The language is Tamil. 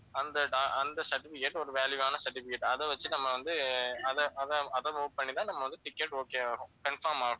அந்த do~ அந்த certificate ஒரு value வான certificate அதை வச்சு நம்ம வந்து அதை அதை அதை move பண்ணிதான் நம்ம வந்து ticket okay ஆகும் confirm ஆகும்